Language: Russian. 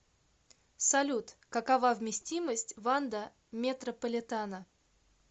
салют какова вместимость ванда метрополитано